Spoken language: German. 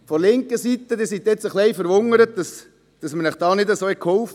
Auf der linken Seite sind Sie wohl etwas verwundert, dass wir Ihnen nicht so geholfen haben.